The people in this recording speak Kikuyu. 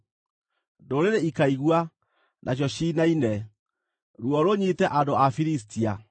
Ndũrĩrĩ ikaigua, nacio ciinaine; ruo rũnyiite andũ a Filistia.